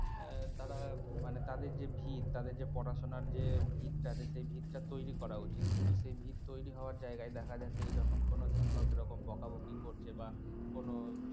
আহ তারা মানে তাদের যে ভীত তাদের যে পড়াশোনার যে ভীত টা আছে সেই ভীত টা তৈরি করা উচিত তো সেই ভীত তৈরি হওয়ার জায়গায় দেখা যাচ্ছে যে যখন কোনো শিক্ষক এরকম বকাবকি করছে বা কোন